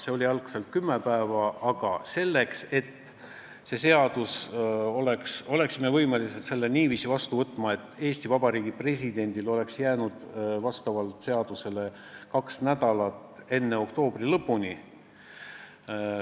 See oli algselt kümme päeva, aga me pidime olema võimelised seaduse niiviisi vastu võtma, et Eesti Vabariigi presidendil oleks enne oktoobri lõppu jäänud seaduse väljakuulutamiseks aega seadusega ette nähtud kaks nädalat.